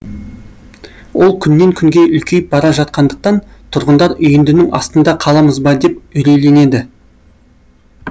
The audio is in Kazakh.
ол күннен күнге үлкейіп бара жатқандықтан тұрғындар үйіндінің астында қаламыз ба деп үрейленеді